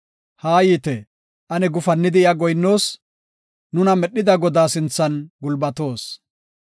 Haayite; ane gufannidi iya goyinnoos; nuna medhida Godaa sinthan gulbatoos.